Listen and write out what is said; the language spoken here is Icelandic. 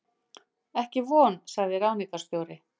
Ekki von sagði ráðningarstjóri.